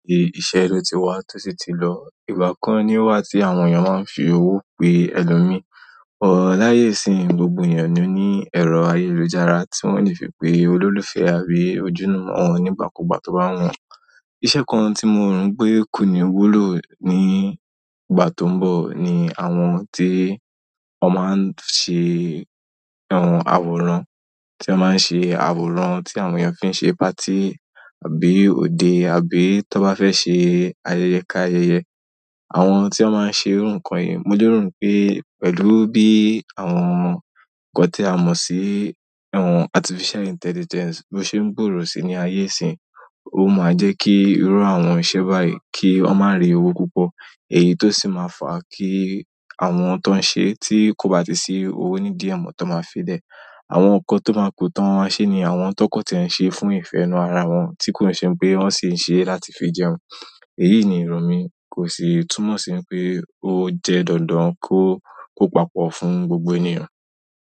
Iṣẹ́lẹ́ ti wà tósí ti lọ. Ìgbà kan ni o wà tí àwọn èèyàn máa ń fi owó pe ẹlòmí, but láyé ìsín, gbogbo ènìyàn ni ó ní ẹrọ ayélujára tí wọ́n lè fi pe olólùfẹ́ àbí ojúlumọ̀ wọn nígbàkúgbà tó bá wù wọ́n. Iṣẹ́ kan tí mo rò n pé kò ní wúlò ní ìgbà tó ń bọ̀ ni àwọn tí wọ́n máa ń ṣe àwòrán, tí wọ́n máa ń ṣe àwòrán tí àwọn èèyàn fi ń ṣe party àbí òde àbí tón bá fẹ́ ṣe ayẹyẹ ka ayẹyẹ. Àwọn tí wọ́n máa ń ṣe irú nkan yìí, mo lerò n pé pẹ̀lú bí àwọn nǹkan tí a mọ̀ sí àwọn artificial intelligence bo ṣe ń gbòòrò sí ní ayé ìsín, ó máa jẹ́ kí irú àwọn iṣẹ́ báyìí kí wọ́n má ri owó púpọ̀ èyí tó sì máa fà kí àwọn tó ń ṣe tí kò bá ti sí owó ní idí ẹ̀ mọ́ tón máa filẹ̀. Àwọn nǹkan tó máa ku tán maa má ṣẹ ni àwọn tón kan tí e n ṣe fún ìfẹ́ inú ara wọn tí kò n ṣe n pé wọ́n sì ń ṣe láti fi jẹun. Èyí ni ìrò mi kò sì túmọ̀ sí pé ó jẹ́ dandan kó kó papọ̀ fún gbogbo ènìyàn.